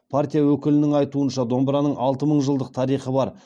партия өкілінің айтуынша домбыраның алты мың жылдық тарихы бар